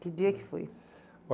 Que dia que foi?